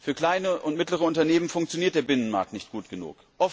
Für kleine und mittlere Unternehmen funktioniert der Binnenmarkt nicht gut genug.